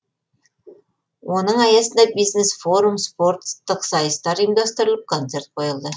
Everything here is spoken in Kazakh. оның аясында бизнес форум спорттық сайыстар ұйымдастырылып концерт қойылды